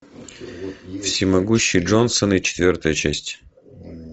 всемогущие джонсоны четвертая часть